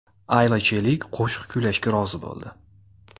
Ayla Chelik qo‘shiq kuylashga rozi bo‘ldi.